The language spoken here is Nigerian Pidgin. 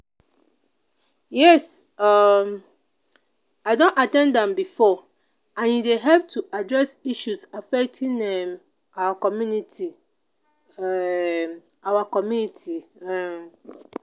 yes um i don at ten d am before and e dey help to address issues affecting um our community. um our community. um